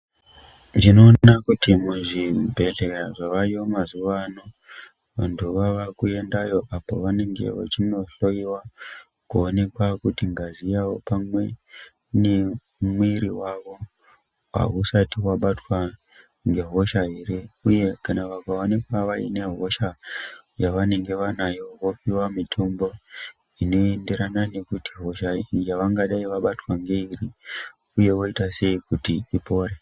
Tinoone kuti zvibhedhleya zvavayo mazuvano, vantu vava kuyendayo apo vanenge vachindohloyiwa kuonekwa kuti ngazi yavo pamwe nemiiri wavo hausati wabatwa ngehosha here, uye kana vakaonekwa vaine hosha yavanenge vanayo vopiwa mitombo ineenderana nekuti hosha yavangadai vabatwa ndeiri, uye voita sei kuti ipore.